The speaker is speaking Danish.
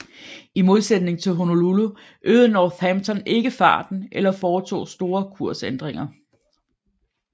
I modsætning til Honolulu øgede Northampton ikke farten eller foretog store kursændringer